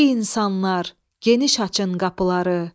Ey insanlar, geniş açın qapıları.